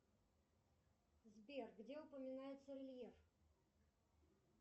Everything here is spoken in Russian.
сбер где упоминается лев